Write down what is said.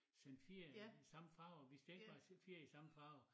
Sende 4 af den samme farve og hvis der ikke var 4 i samme farve